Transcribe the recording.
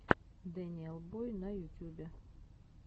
дэниел бой на ютюбе